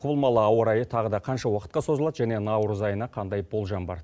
құбылмалы ауа райы тағы да қанша уақытқа созылады және наурыз айына қандай болжам бар